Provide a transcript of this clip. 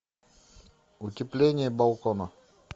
утепление балкона